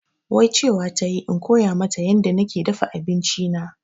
Wai cewa tayi in koya mata yanda nake dafa abinci na